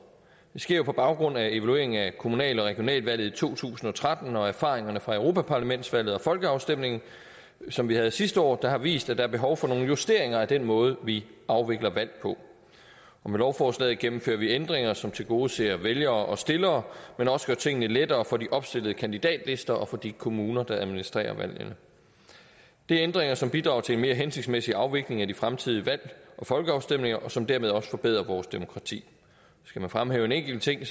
det sker på baggrund af evalueringen af kommunal og regionalvalget i to tusind og tretten og erfaringerne fra europaparlamentsvalget og folkeafstemningen som vi havde sidste år der har vist at der er behov for nogle justeringer af den måde vi afvikler valg på med lovforslaget gennemfører vi ændringer som tilgodeser vælgere og stillere men også gør tingene lettere for de opstillede kandidatlister og for de kommuner der administrerer valgene det er ændringer som bidrager til en mere hensigtsmæssig afvikling af de fremtidige valg og folkeafstemninger og som dermed også forbedrer vores demokrati skal man fremhæve en enkelt ting